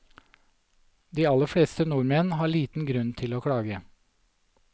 De aller fleste nordmenn har liten grunn til å klage.